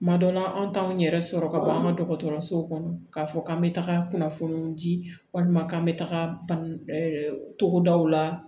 Kuma dɔ la an t'anw yɛrɛ sɔrɔ ka ban an ka dɔgɔtɔrɔsow kɔnɔ k'a fɔ k'an bɛ taga kunnafoniw di walima k'an bɛ taga togodaw la